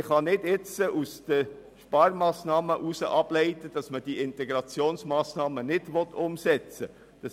Man kann jetzt nicht aus den Sparmassnahmen ableiten, dass die Integrationsmassnahmen nicht umgesetzt werden sollen.